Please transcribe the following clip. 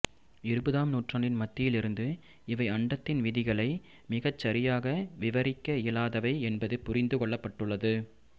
இருபதாம் நூற்றாண்டின் மத்தியிலிருந்து இவை அண்டத்தின் விதிகளை மிகச்சரியாக விவரிக்க இயலாதவை என்பது புரிந்து கொள்ளப்பட்டுள்ளது